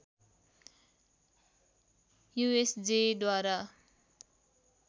USJA द्वारा